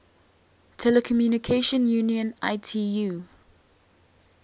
telecommunication union itu